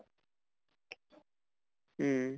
উম